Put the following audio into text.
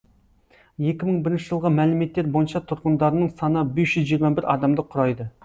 екі мың бірінші жылғы мәліметтер бойынша тұрғындарының саны бес жүз жиырма бір адамды құрайды